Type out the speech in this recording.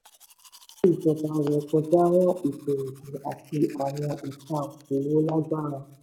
ìnáwó ìjọba ré kọjá ran ètò-ọ̀gbìn àti àwọn ẹ̀ka òkòòwò lágbára.